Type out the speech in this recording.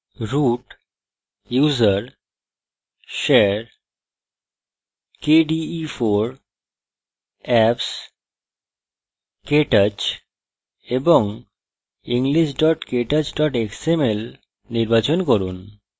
root> usr> share> kde4> apps> ktouch এবং english ktouch xml নির্বাচন করুন